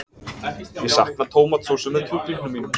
Ég sakna tómatsósu með kjúklingnum mínum.